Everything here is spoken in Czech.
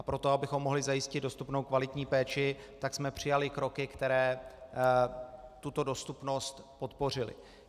A pro to, abychom mohli zajistit dostupnou kvalitní péči, tak jsme přijali kroky, které tuto dostupnost podpořily.